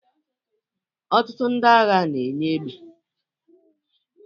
Ọtụtụ ndị agha na-enye egbe